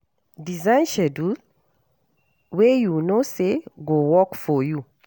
Design schedule wey you know say go work for you